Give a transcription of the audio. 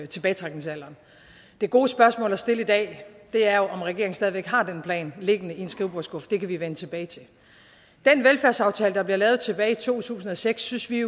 tilbagetrækningsalderen det gode spørgsmål at stille i dag er jo om regeringen stadig væk har den plan liggende i en skrivebordsskuffe det kan vi vende tilbage til den velfærdsaftale der blev lavet tilbage i to tusind og seks synes vi